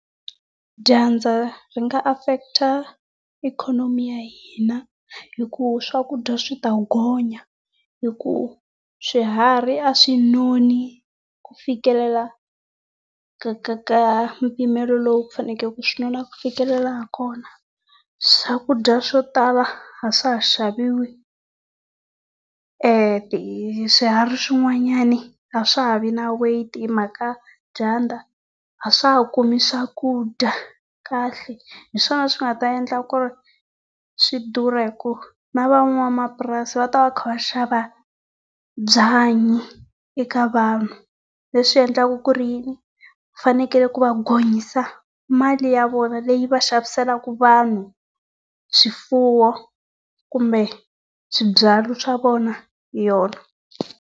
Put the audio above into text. Dyandza ri nga affect ikhonomi ya hina hi ku swakudya swi ta gonya hi ku swiharhi a swi noni ku fikelela ka ka ka mpimelo lowu ku fanekele ku swi nona ku fikelela hi kona. Swakudya swo tala a swa ha xaviwi swiharhi swin'wanyana a swa ha vi na weight hi mhaka dyandza, a swa ha kumi swakudya kahle. Hi swona swi nga ta endla ku ri swi durha hi ku na van'wamapurasi va ta va va kha va xava byanyi eka vanhu. Leswi endlaka ku ri yini, fanekele ku va gonyisa mali ya vona leyi va xaviseleke vanhu swifuwo kumbe swibyariwa swa vona hi yona.